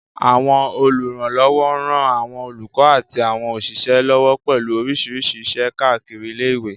Àwọn olùrànlọ́wọ́ ń ran àwọn olùkọ́ àti àwọn òṣìṣẹ́ lọ́wọ́ pẹ̀lú oríṣiríṣi iṣẹ́ káàkiri ilé ìwé